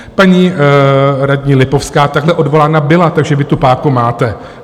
Paní radní Lipovská takhle odvolána byla, takže vy tu páku máte.